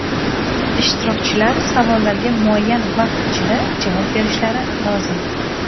Ishtirokchilar savollarga muayyan vaqt ichida javob berishlari lozim.